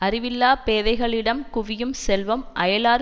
அறிவில்லாப் பேதைகளிடம் குவியும் செல்வம் அயலார்